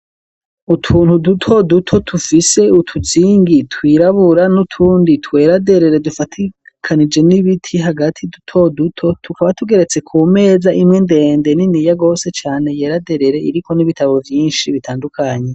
Utuntu duto duto tufise utuzingi twirabura n'utundi twera derere dufatikanije n'ibiti hagati duto duto tukaba tugeretse ku meza imwe ndende nini ya gose cane yera derere iriko n'ibitabo vyinshi bitandukanye.